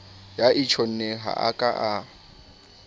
ya tjhonneng ha a ka